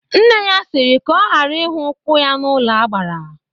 Nne ya siri ka ọ gara ihu ụkwụ ya n'ụlọ agbara!